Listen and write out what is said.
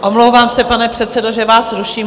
Omlouvám se, pane předsedo, že vás ruším.